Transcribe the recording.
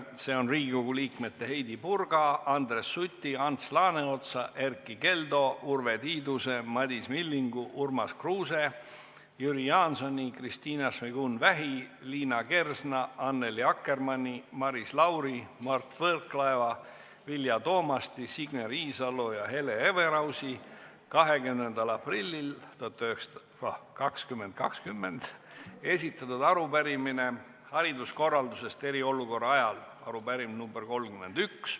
See on Riigikogu liikmete Heidy Purga, Andres Suti, Ants Laaneotsa, Erkki Keldo, Urve Tiiduse, Madis Millingu, Urmas Kruuse, Jüri Jaansoni, Kristina Šmigun-Vähi, Liina Kersna, Annely Akkermanni, Maris Lauri, Mart Võrklaeva, Vilja Toomasti, Signe Riisalo ja Hele Everausi 20. aprillil 2020 esitatud arupärimine eriolukorraaegse hariduskorralduse kohta – arupärimine nr 31.